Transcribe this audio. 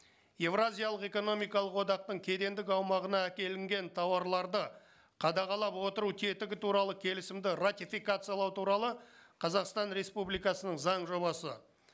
еуразиялық экономикалық одақтың кедендік аумағына әкелінген тауарларды қадағалап отыру тетігі туралы келісімді ратификациялау туралы қазақстан республикасының заң жобасы